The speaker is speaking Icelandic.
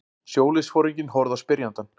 Sjóliðsforinginn horfði á spyrjandann.